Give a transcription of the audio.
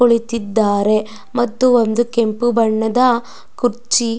ಕುಳಿತಿದ್ದಾರೆ ಮತ್ತು ಒಂದು ಕೆಂಪು ಬಣ್ಣದ ಕುರ್ಚಿ--